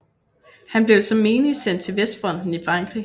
Han blev som menig sendt til vestfronten i Frankrig